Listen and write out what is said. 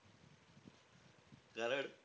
कारण,